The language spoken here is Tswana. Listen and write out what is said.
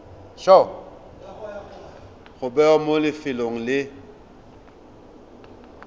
go bewa mo lefelong le